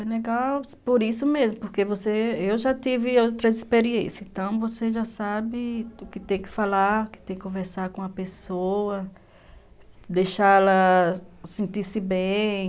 É legal por isso mesmo, porque você, eu já tive outras experiências, então você já sabe o que tem que falar, o que tem que conversar com a pessoa, deixa-la sentir-se bem.